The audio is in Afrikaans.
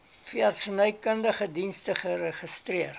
veeartsenykundige dienste geregistreer